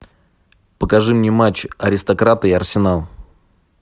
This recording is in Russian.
покажи мне матч аристократы и арсенал